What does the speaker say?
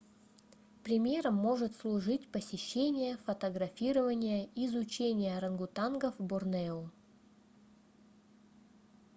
примером может служить посещение фотографирование и изучение орангутангов в борнео